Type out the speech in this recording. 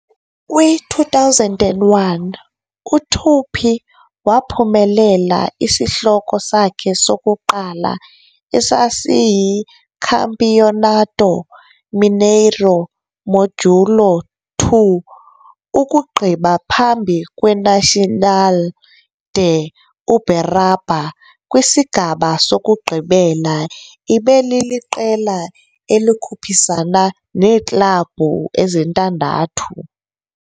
Kwi-2001, uTupi waphumelela isihloko sakhe sokuqala, esasiyiCampeonato Mineiro Módulo II, ukugqiba phambi kweNacional de Uberaba kwisigaba sokugqibela, ebeliliqela elikhuphisana neeklabhu ezintandathu.